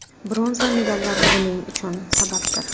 Bronza medallar buning uchun sababdir.